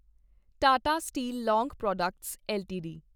Tata steel long products LTD